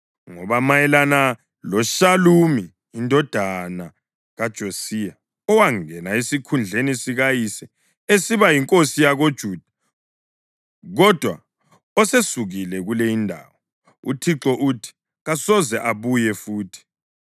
Ngoba mayelana loShalumi indodana kaJosiya, owangena esikhundleni sikayise esiba yinkosi yakoJuda kodwa osesukile kule indawo: UThixo uthi, “Kasoze abuye futhi.